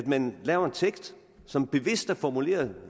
man laver en tekst som bevidst er formuleret